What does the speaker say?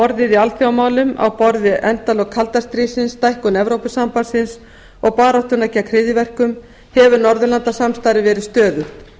orðið alþjóðamálum á borð við endalok kalda stríðsins stækkun evrópusambandsins og baráttuna gegn hryðjuverkum hefur norðurlandasamstarfið verið stöðugt